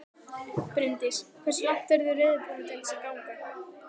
Bryndís: Hversu langt eruð þið reiðubúnir til þess að ganga?